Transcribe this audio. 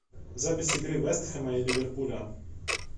запись игры вест хэма и ливерпуля